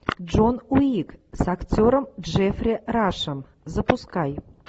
джон уик с актером джеффри рашем запускай